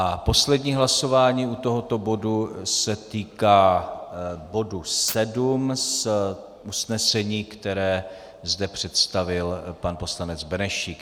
A poslední hlasování u tohoto bodu se týká bodu 7 z usnesení, které zde představil pan poslanec Benešík.